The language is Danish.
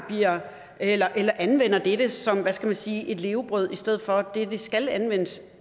eller anvender dette som hvad skal man sige et levebrød i stedet for det det skal anvendes